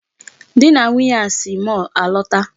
Di na Nwunye a si mall alọta.